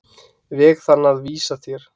veg þann að vísa þér.